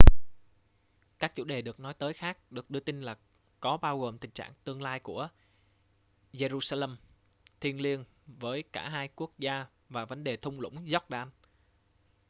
các chủ đề được nói tới khác được đưa tin là có bao gồm tình trạng tương lai của jerusalem thiêng liêng với cả hai quốc gia và vấn đề thung lũng jordan